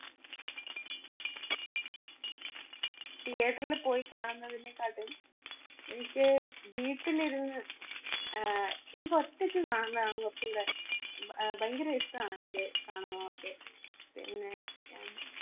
theatre ല് പോയി കാണുന്നതിനെക്കാട്ടും എനിക്ക് വീട്ടിലിരുന്ന് ആഹ് എനിക്കൊറ്റക്കു കാണുന്നതാണ് കൊറച്ചൂടെ ഉം ഭ~ഭയങ്കര ഇഷ്ട്ടാണ് എനിക്ക് കാണുന്നതൊക്കെ. പിന്നെ എ